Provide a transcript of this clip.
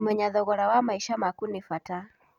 Kũmenya thogora wa maica maku nĩ bata.